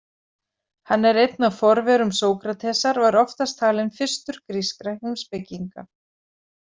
Hann er einn af forverum Sókratesar og er oftast talinn fyrstur grískra heimspekinga.